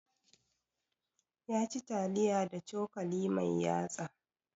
Ya ci taliya da cokali mai yatsa